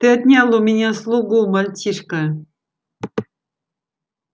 ты отнял у меня слугу мальчишка